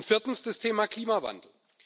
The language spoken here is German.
Viertens das Thema Klimawandel.